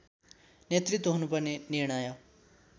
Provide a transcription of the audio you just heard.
नेतृत्व हुनुपर्ने निर्णय